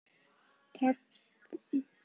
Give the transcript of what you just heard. Taktu eftir því hvenær færslan er tímasett.